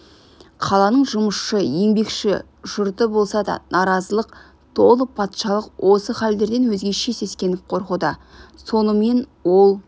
қаланың жұмысшы еңбекші жұрты болса да наразылыққа толы патшалық осы халдерден өзгеше сескеніп қорқуда сонымен ол